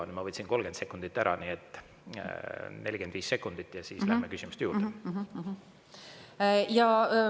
Nüüd ma võtsin 30 sekundit ära, nii et 45 sekundit ja siis läheme järgmiste küsimuste juurde.